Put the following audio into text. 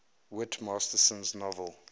whit masterson's novel